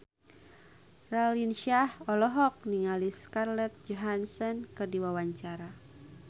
Raline Shah olohok ningali Scarlett Johansson keur diwawancara